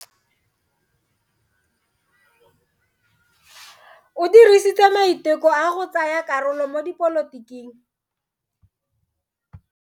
O dirile maiteko a go tsaya karolo mo dipolotiking.